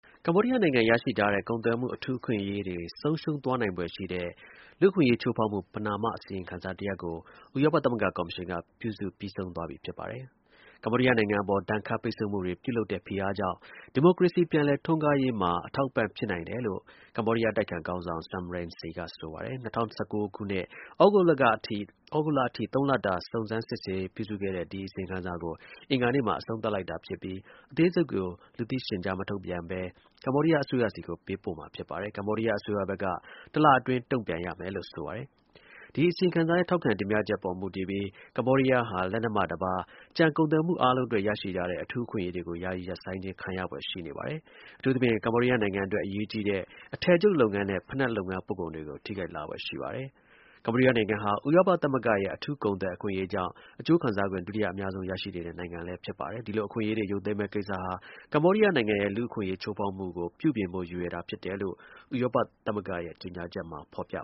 ကမ္ဘောဒီးယားနိုင်ငံ ရရှိထားတဲ့ ကုန်သွယ်မှု အထူးအခွင့်အရေးတွေ ဆုံးရှုံးသွားနိုင်ဖွယ် ရှိတဲ့ လူ့အခွင့်အရေးချိုးဖေါက်မှု ပဏာမအစီရင်ခံစာ တရပ်ကို ဥရောပသမဂ္ဂ ကော်မရှင်က ပြုစုပြီးဆုံးသွားပြီ ဖြစ်ပါတယ်။ ကမ္ဘောဒီးယားနိုင်ငံ အပေါ် ဒဏ်ခတ်ပိတ်ဆို့မှုတွေ ပြုလုပ်တဲ့ ဖိအားကြောင့် ဒီမိုကရေစီ ပြန်လည်ထွန်းကားရေးမှာ အထောက်အပံ့ ဖြစ်နိုင် တယ်လို့ ကမ္ဘောဒီးယားအတိုက်အခံ ခေါင်းဆောင် Sam Rainsy ကဆိုပါတယ်။ ၂၀၁၉ သြဂုတ်လကအထိ ၃ လတာ စုံစမ်းစစ်ဆေး ပြုစုခဲ့တဲ့ ဒီအစီရင်ခံစာကို အင်္ဂါနေ့မှာ အဆုံးသတ်လိုက်တာ ဖြစ်ပြီး အသေးစိတ်ကို လူသိရှင်ကြား မထုတ်ပြန်ဘဲ ကမ္ဘောဒီးယား အစိုးရဆီကို ပေးပို့မှာဖြစ်ပါတယ်။ ကမ္ဘောဒီးယားအစိုးရဘက်က တလအတွင်း တုန့်ပြန်ရမယ်လို့ဆိုပါတယ်။ ဒီအစီရင်ခံစာရဲ့ထောက်ခံ တင်ပြချက် အပေါ်မူတည်ပြီး ကမ္ဘောဒီးယားဟာ လက်နက်မှတပါး ကျန်ကုန်သွယ်မှု အားလုံးအတွက် ရရှိထားတဲ့ အထူးအခွင့်အရေးတွေကို ယာယီရပ်ဆိုင်းခြင်း ခံရဖွယ်ရှိပါတယ်။ အထူးသဖြင့် ကမ္ဘောဒီးယားနိုင်ငံအတွက် အရေးကြီးတဲ့ အထည်ချုပ်လုပ်ငန်းနဲ့ ဖိနပ်လုပ်ငန်း ပို့ကုန်တွေကို ထိခိုက်လာဖွယ်ရှိပါတယ်။ ကမ္ဘောဒီးယားနိုင်ငံဟာ ဥရောပသမဂ္ဂရဲ့ အထူးကုန်သွယ် အခွင့်အရေးကြောင့် အကျိုးခံစားခွင့် ဒုတိယအများဆုံး ရရှိနေတဲ့ နိုင်ငံဖြစ်ပါတယ်။ ဒီလိုအခွင့်အရေးတွေ ရုပ်သိမ်းမယ့်ကိစ္စဟာ ကမ္ဘောဒီးယားနိုင်ငံရဲ့ လူ့အခွင့်အရေး ချိုးဖေါက်မှုကို ပြုပြင်ဖို့ရည်ရွယ်တာဖြစ်တယ်လို့ ဥရောပ သမဂ္ဂရဲ့ ကြေညာချက်မှာ ဖေါ်ပြ